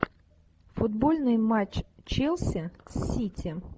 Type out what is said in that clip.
футбольный матч челси сити